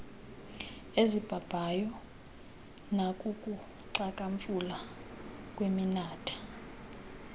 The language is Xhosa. ezibhabhayo nakukuxhakamfula kweminatha